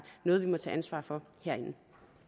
noget vi må tage ansvar for herinde